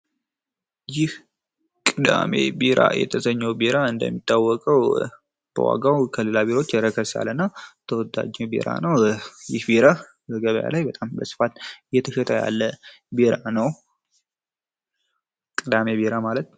ይህ ቅዳሜ ቢራ በመባል የሚታወቀው እንደሚታወቀው በዋጋው ከሌሎች ረከስ ያለ እና ተወዳጅ ቢራ ነው። እና ይህ ቢራ በገበያ ላይ በስፋት እየተሸጠ ያለ ቢራ ነው። ቅዳሜ ቢራ ማለት ነው።